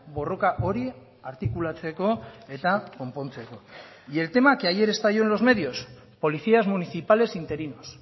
borroka hori artikulatzeko eta konpontzeko y el tema que ayer estalló en los medios policías municipales interinos